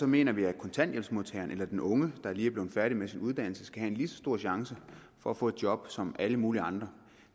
mener vi at kontanthjælpsmodtageren eller den unge der lige er blevet færdig med sin uddannelse skal have en lige så stor chance for at få et job som alle mulige andre